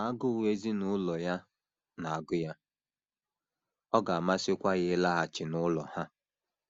Ma agụụ ezinụlọ ya na - agụ ya, ọ ga - amasịkwa ya ịlaghachi n’ụlọ ha.